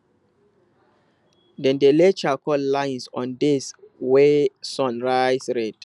dem dey lay charcoal lines on days wey sun rise red